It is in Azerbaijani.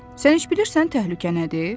Sən heç bilirsən təhlükə nədir?